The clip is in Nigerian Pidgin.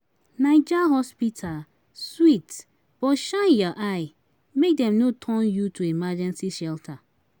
Naija hospital sweet but shine your eye make dem no turn you to emergency shelter